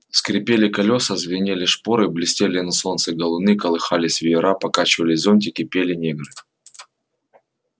скрипели колёса звенели шпоры блестели на солнце галуны колыхались веера покачивались зонтики пели негры